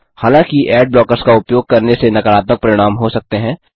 हालांकि ad blockers का उपयोग करने से नकारात्मक परिणाम हो सकते हैं